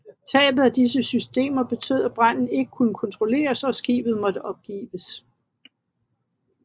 Tabet af disse systemer betød at branden ikke kunne kontrolleres og skibet måtte opgives